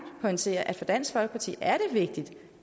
pointere at det for dansk folkeparti er vigtigt